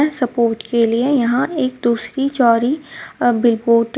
support के लिए यहां एक दूसरी जोरी अ --